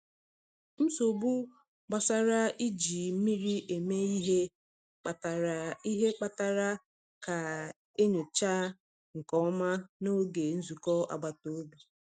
Nsogbu gbasara iji mmiri eme ihe kpatara ihe kpatara ka e nyochaa nke ọma n’oge nzukọ agbata obi.